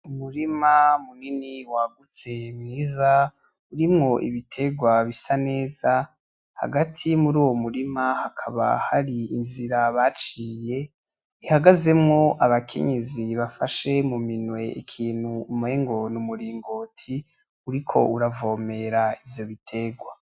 Umurima munini wagutse mwiza urimwo ibiterwa bisa neza ;hagati mur'uwo murima hakaba har'inzira baciye ihagazemwo abakenyezi bafashe mu minwe ikinti umengo n'umuringoti uriko uravomera ivyo biterwa.